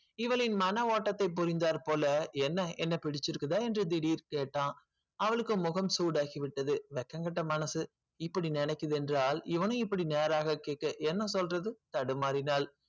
இவளின் மன ஓட்டத்தை புரிந்தால் போல என்ன என்ன புடிச்சுருக்க என்று திடீர் கேட்டான் அவளுக்கு முகம் சூடாகி விட்டது வெட்கக்கேட்ட மனசு இப்படி நினைக்குது என்றல் இவனும் இப்படி நேராக கேட்டு சென்று தடுமாறினால்